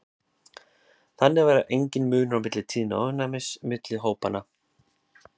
þannig var enginn munur á tíðni ofnæmis milli hópanna